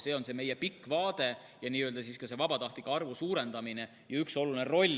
See on meie pikk vaade vabatahtlike arvu suurendamise koha pealt.